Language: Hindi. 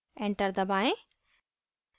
enter दबाएं